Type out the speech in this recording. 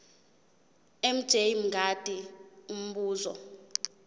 mj mngadi umbuzo